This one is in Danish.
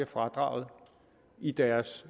fradrag i deres